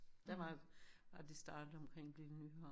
Der var at de startede omkring Lille Nyhavn